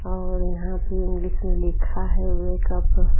और यहाँ ये इंग्लिश में लिखा है वेक अप ।